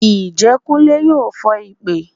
Njẹ kùnlé yọọ fón ipè?